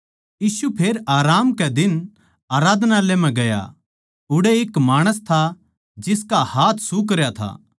यीशु फेर आराम कै दिन आराधनालय म्ह गया उड़ै एक माणस था जिसका हाथ सुखरया था